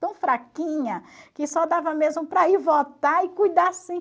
Tão fraquinha, que só dava mesmo para ir votar e cuidar assim.